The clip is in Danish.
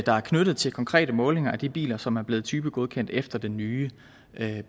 der er knyttet til konkrete målinger af de biler som er blevet typegodkendt efter den nye